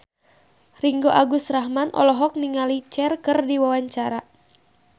Ringgo Agus Rahman olohok ningali Cher keur diwawancara